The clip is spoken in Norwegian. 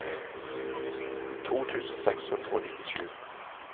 to tusen seks hundre og nittisju